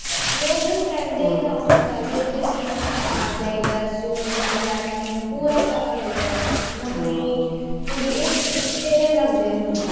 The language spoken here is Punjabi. ਲੋਕ ਹੁਣ ਦੇ ਹਿਸਾਬ ਨਾਲ ਚੱਲਦੇ ਨੇ ਕੀ ਮੈਨੂੰ ਪਾਉਣਾ ਚਾਹੀਦਾ ਸੂਟ matching ਪੂਰਾ ਕਰਨਾ ਚਾਹੀਦਾ ਮੰਮੀ ਕੁੜੀ ਇੱਕੋ ਜਿਹੇ ਲੱਗਦੇ ਹੁਣ ਤਾਂ